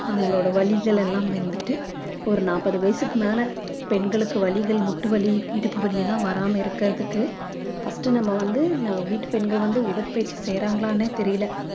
அவங்களோட வலிகளெல்லாம் வந்துட்டு ஒரு நாற்பது வயசுக்கு மேல பெண்களுக்கு வலிகள் முட்டு வலி இடுப்பு வலியெல்லாம் வராம இருக்கறதுக்கு first நம்ம வந்து நம்ம வீட்டு பெண்கள் வந்து உடற்பயிற்சி செய்றாங்களான்னே தெரியல